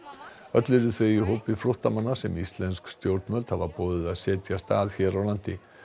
öll eru þau í hópi flóttamanna sem íslensk stjórnvöld hafa boðið að setjast að hér á landi